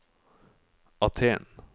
Aten